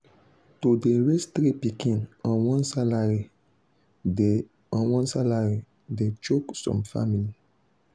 to dey raise three pikin on one salary dey one salary dey choke some family.